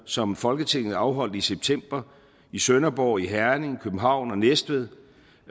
som folketinget afholdt i september i sønderborg herning københavn og næstved